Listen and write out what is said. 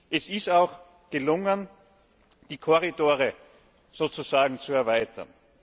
Es ist auch gelungen, die Korridore sozusagen zu erweitern.